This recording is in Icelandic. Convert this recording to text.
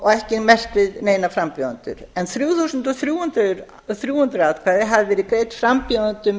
ekki merkt við neina frambjóðendur en þrjú þúsund og þrjú hundruð atkvæði hafi verið greidd frambjóðendum